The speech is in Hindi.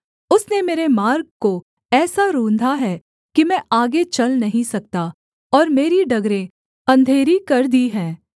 उसने मेरे मार्ग को ऐसा रूंधा है कि मैं आगे चल नहीं सकता और मेरी डगरें अंधेरी कर दी हैं